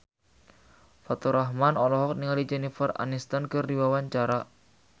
Faturrahman olohok ningali Jennifer Aniston keur diwawancara